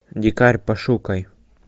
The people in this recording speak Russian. дикарь пошукай